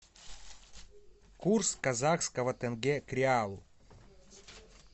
курс казахского тенге к реалу